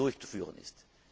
durchzuführen ist.